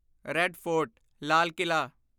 red Fort ਲਾਲ ਕਿਲ੍ਹਾ